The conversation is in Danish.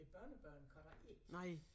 Æ børnebørn kan det ikke